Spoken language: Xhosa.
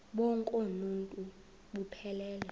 bonk uuntu buphelele